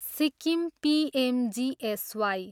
Sikkim PMGSY.